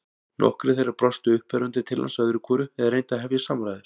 Nokkrir þeirra brostu uppörvandi til hans öðru hvoru eða reyndu að hefja samræður.